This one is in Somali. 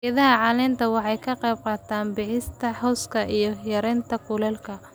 Geedaha caleenta waxay ka qayb qaataan bixinta hooska iyo yareynta kulaylka.